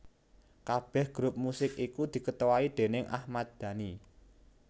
Kabeh grup musik iku diketuai déning Ahmad Dhani